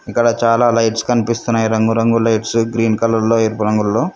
ఇక్కడ చాలా లైట్స్ కనిపిస్తున్నాయి రంగు రంగుల లైట్స్ గ్రీన్ కలర్ లొ ఎరుపు రంగుల్లో.